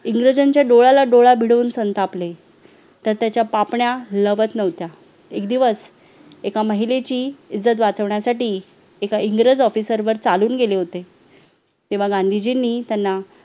इंग्रजांच्या डोळ्याला डोळा भिडवून संतापले तर त्याच्या पापण्या लगत नव्हत्या एक दिवस एका महिलेची इज्जत वाचवण्यासाठी एका इंग्रज officer वर चालून गेले होते तेव्हा गांधीजींनी त्यांना